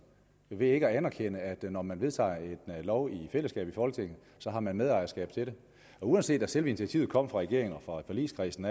ikke at anerkende at når man vedtager en lov i fællesskab i folketinget så har man medejerskab til den uanset at selve initiativet kom fra regeringen og fra forligskredsen